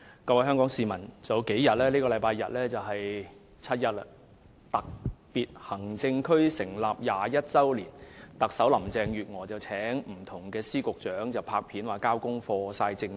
各位香港市民，數天後的星期日就是七一，即香港特別行政區成立21周年的日子，特首林鄭月娥邀請各司局長拍片或交功課來炫耀政績。